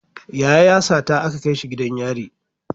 Yaya ya sata aka kaishi gidan yari